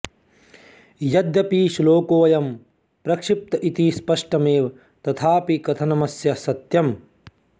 यद्यपि श्लोकोऽयं प्रक्षिप्त इति स्पष्टमेव तथापि कथनमस्य सत्यम्